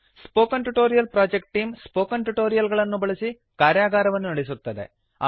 spoken tutorial project team spoken tutorial ಗಳನ್ನು ಉಪಯೋಗಿಸಿ ಕಾರ್ಯಗಾರವನ್ನು ನಡೆಸುತ್ತದೆ